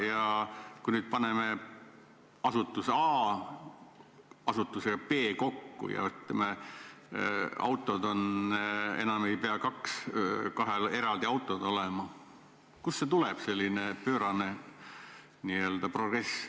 Kui me nüüd paneme asutuse A ja asutuse B kokku ja ütleme, enam ei pea kahel eraldi autod olema, kust siis ikkagi selline pöörane progress tuleb?